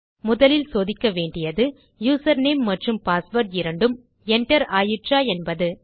முதலில் சோதிக்க வேண்டியது யூசர் நேம் மற்றும் பாஸ்வேர்ட் இரண்டும் enter ஆயிற்றா என்பது